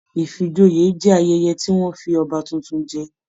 Ifíjòyè jẹ ayẹyẹ tí wọn fí ọba títún jẹ.